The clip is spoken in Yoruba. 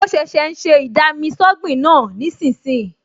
Mo ṣẹ̀ṣẹ̀ ń ṣe ì-dami-sọ́gbìn náà nísinsìnyí